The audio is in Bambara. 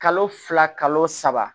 Kalo fila kalo saba